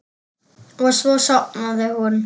Og svo sofnaði hún.